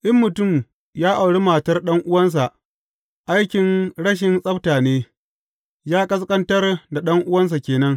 In mutum ya auri matar ɗan’uwansa, aikin rashin tsabta ne, ya ƙasƙantar da ɗan’uwansa ke nan.